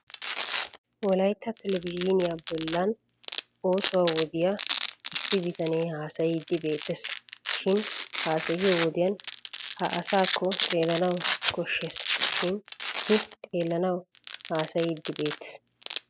Wolaytta televizhiiniya bollan osuwaa wodiya issi bitane haasayiiddi beettes. Shin haasayiyo wodiyan haa asaakko xeellanawu koshshes shin I xeellenan haasayiiddi beettes.